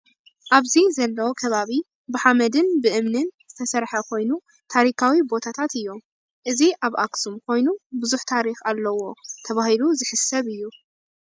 ኣብዚ ዘሎ ከባቢ ብሓመድን ብእምኒን ዝተሰረሐ ኮይኑ ታሪካዊ ቦታት እዮም። እዚ ኣብ ኣኽሱም ኮይኑ ብዙሕ ታሪኽ ኣለዎ ተባሂሉ ዝሕሰብ እዩ።